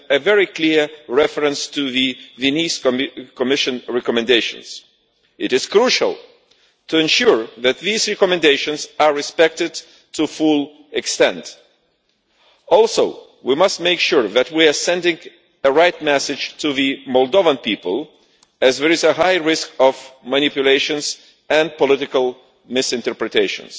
very clear reference to the Venice Commission recommendations. It is crucial to ensure that these recommendations are fully respected. We must also make sure that we are sending the right message to the Moldovan people, as there is a high risk of manipulation and political misinterpretation.